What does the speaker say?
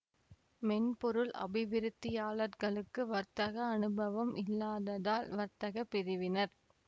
மென்பொருள் அபிவிருத்தியாளர்களுக்கு வர்த்தக அனுபவம் இல்லாத்தால் வர்த்தக பிரிவினர்